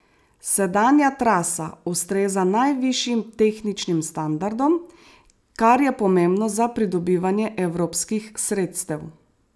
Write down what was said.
Sedanja trasa ustreza najvišjim tehničnim standardom, kar je pomembno za pridobivanje evropskih sredstev.